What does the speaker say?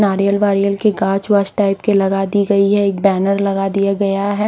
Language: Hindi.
नारियल वारियल की गाज वाज टाइप के लगा दी गई है एक बैनर लगा दिया गया हैं।